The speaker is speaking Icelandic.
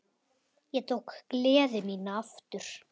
Ég tók gleði mína aftur.